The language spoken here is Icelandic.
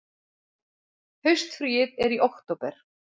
Haustfríið er í október.